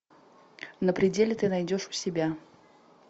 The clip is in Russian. на пределе ты найдешь у себя